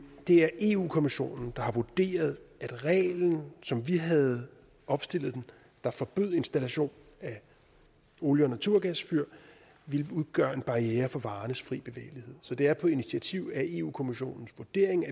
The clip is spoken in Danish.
det er eu kommissionen der har vurderet at reglen som vi havde opstillet den der forbød installation af olie og naturgasfyr ville udgøre en barriere for varernes fri bevægelighed så det er på initiativ af eu kommissionens vurdering